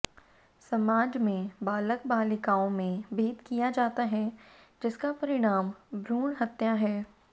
समाज में बालक बालिकाओं में भेद किया जाता है जिसका परिणाम भ्रूण हत्या है